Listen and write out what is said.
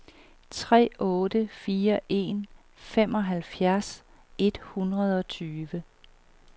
tre otte fire en femoghalvfjerds et hundrede og tyve